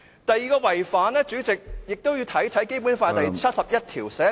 第二個違反，主席，《基本法》第七十一條寫明......